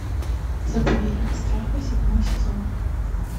заповедник страха седьмой сезон